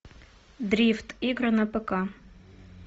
дрифт игры на пк